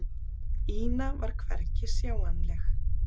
Ína var hvergi sjáanleg.